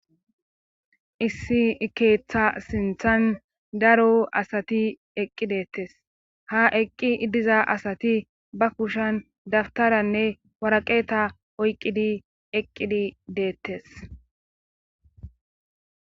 issi keeththa sinthan daro asati eqqi deettes ha eqqi iddiza asati ba kushan dabtaranne waraqeeta oyqqidi eqqidi deettes